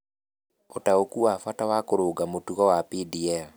Ũtaũku wa bata wa kũrũnga mũtugo wa DPL.